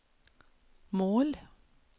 mål